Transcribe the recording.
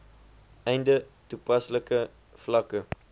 einde toepaslike vlakke